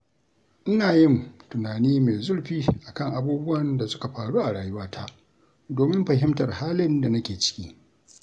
Ina yin tunani mai zurfi a kan abubuwan da suka faru a rayuwata domin fahimtar halin da nake ciki.